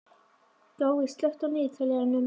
Gói, slökktu á niðurteljaranum.